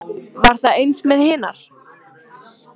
Var það eins með hinar?